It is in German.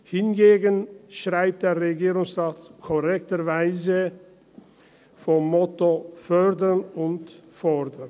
Hingegen schreibt der Regierungsrat korrekterweise vom Motto «fördern und fordern».